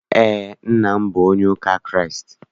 Eé, nna m bụ onye ụka Kraịst.